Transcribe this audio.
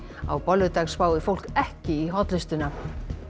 á bolludag spái fólk ekki í hollustuna